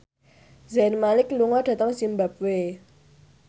Zayn Malik lunga dhateng zimbabwe